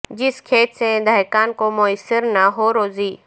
جس کھیت سے دہقان کو میسر نہ ہو روزی